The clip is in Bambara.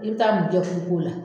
I bi taa mun kɛ furu ko la